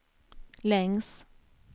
längs